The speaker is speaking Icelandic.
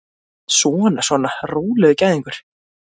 Svona, svona, rólegur gæðingur!